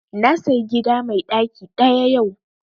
Na sayi gida mai ɗaki ɗaya yau